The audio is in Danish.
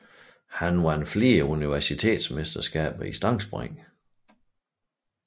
Han vandt flere universitetsmesterskaber i stangspring